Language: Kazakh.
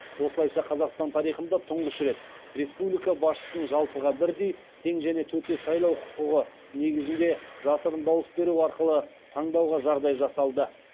осылайша қазақстан тарихында тұңғыш рет республика басшысын жалпыға бірдей тең және төте сайлау құқығы негізінде жасырын дауыс беру арқылы таңдауға жағдай жасалды